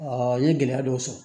n ye gɛlɛya dɔw sɔrɔ